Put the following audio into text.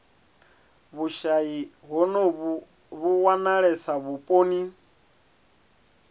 vhushayi honovhu vhu wanalesa vhuponi